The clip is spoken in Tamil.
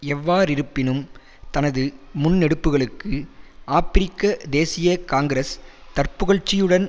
எவ்வாறிருப்பினும் தனது முன்னெடுப்புகளுக்கு ஆபிரிக்க தேசிய காங்கிரஸ் தற்புகழ்ச்சியுடன்